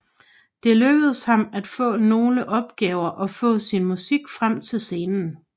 Det lykkedes ham at få nogle opgaver og få sin musik frem til scenen